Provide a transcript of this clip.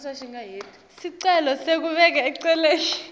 sicelo sekubeka eceleni